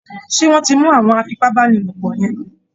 ṣé wọ́n ti mú àwọn afipábánilòpọ̀ yẹ́n?